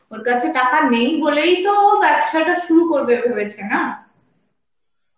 ওর কাছে টাকা নেই বলেই তো ও ব্যবসাটা শুরু করবে ভেবেছে না?